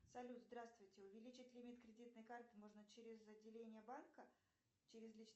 салют здравствуйте увеличить лимит кредитной карты можно через отделение банка через личный